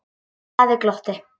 Daði glotti.